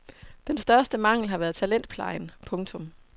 Dens største mangel har været talentplejen. punktum